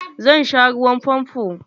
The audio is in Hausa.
Zan sha ruwan famfo.